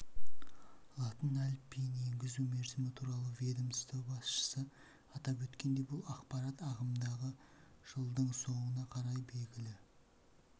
латын әліпбиін енгізу мерзімі туралы ведомство басшысы атап өткендей бұл ақпарат ағымдағы жылдың соңына қарай белгілі